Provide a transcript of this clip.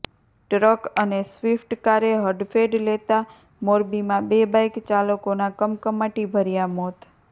truck અને સ્વિફ્ટકારે હડફેટ લેતા મોરબીમાં બે બાઇક ચાલકોના કમકમાટી ભર્યા મોત